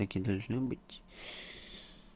так и должно быть